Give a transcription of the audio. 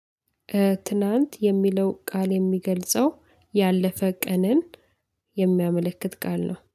ትናንት የሚለው ቃል የሚገልጸው ያለፈ ቀንን የሚያመለክት ቃል ነው